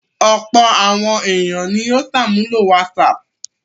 Ọ̀pọ̀ àwọn ènìyàn ni ó ṣàmúlò WhatsApp.